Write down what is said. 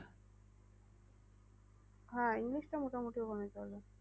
হ্যাঁ english টা মোটামুটি ওখানে চলে।